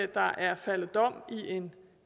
der er faldet dom i en